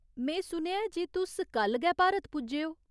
में सुनेआ ऐ जे तुस कल गै भारत पुज्जे ओ।